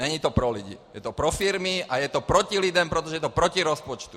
Není to pro lidi, je to pro firmy a je to proti lidem, protože je to proti rozpočtu.